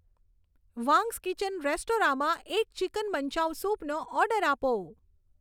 Wang's Kitchen રેસ્ટોરાંમાં એક chicken manchow સૂપનો ઓર્ડર આપો